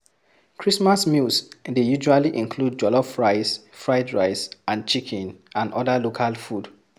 Christmas meals dey usally include jollof rice, fried rice and chicken and oda local food